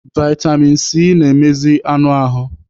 Vitamin C na-emezi anụ ahụ.